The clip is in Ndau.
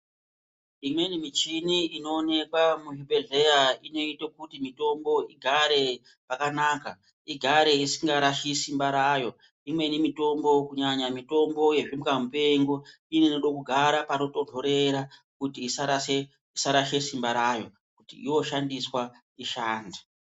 Imweni michini inooneka muzvibhedhleya inoite kuti mitombo igare zvakanaka. Igare isingarashi simba rayo, Imweni mitombo kunyanya mitombo yezvimbwa mupengo inode kugara panotonhorera kuti isarashe simba rayo kuti yoshandiswa ishande.